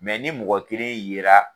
Mɛ ni mɔgɔ kelen ye la.